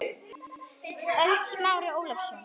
ÖLD Smári Ólason